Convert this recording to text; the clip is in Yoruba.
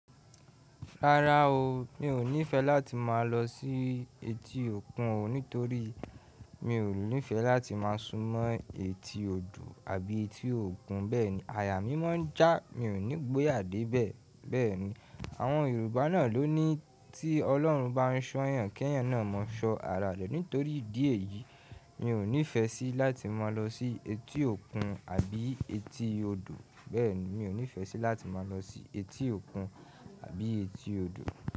Rárá o, mi ò nífẹẹ láti máa lọ sí etí òkun o nítorí mi ò nífẹẹ láti máa súnmọ́ etí odò àbí etí òkun. Bẹ́ẹ̀ni aya mí máa ń já, mi ò ní gboyà dé ibẹ̀. Bẹ́ẹ̀ni àwọn Yorùbá náà ló ní tí Ọlọ́run bá ń ṣọ yàn kẹ́yàn náà máa ṣọ ara rẹ̀. Nítorí ìdí èyí, mi ò nífẹẹ sí láti máa lọ sí etí òkun àbí etí odò. Bẹ́ẹ̀ni mi ò nífẹẹ sí láti máa lọ sí etí òkun àbí etí odò.